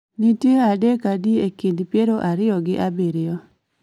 nitie adek adi e kind piero ariyo gi abiro?